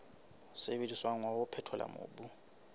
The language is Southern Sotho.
sebediswang wa ho phethola mobu